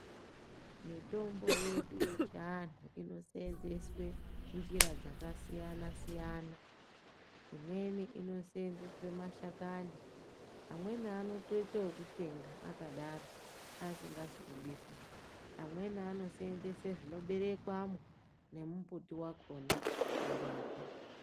Mitombo yedu yechiantu inoseenzeswa njira dzakasiyana siyana imweni inoseenzeswa mashakani amweni anotoita ekutsenga akadaro asikazi kubikwa amweni anoseenzesa zvino berekwamwo nemumbuti wakhona kurapa.